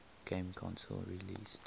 game console released